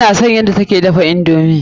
Ina son yadda ta ke dafa indomi.